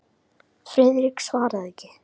Friðrik svaraði ekki.